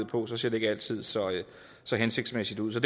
på så ser det ikke altid så så hensigtsmæssigt ud så